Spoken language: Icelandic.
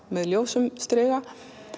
með ljósum striga